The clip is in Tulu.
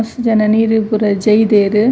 ಮಸ್ತ್ ಜನ ನೀರ್ಗ್ ಪೂರ ಜೈದೆರ್.